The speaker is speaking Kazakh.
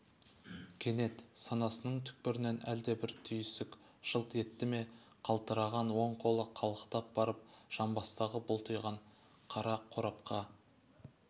кенет санасының түкпірінен әлде бір түйіск жылт етті ме қалтыраған оң қолы қалықтап барып жамбастағы бұлтиған қара қорапқа